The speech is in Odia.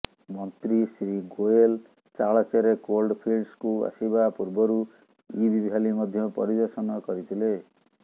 ମନ୍ତ୍ରୀ ଶ୍ରୀ ଗୋଏଲ ତାଳଚେର କୋଲଫିଲ୍ଡସକୁ ଆସିବା ପୂର୍ବରୁ ଇବ୍ ଭ୍ୟାଲି ମଧ୍ୟ ପରିଦର୍ଶନ କରିଥିଲେ